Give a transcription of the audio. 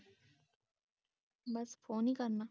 ਬਸ phone ਹੀ ਕਰਨਾ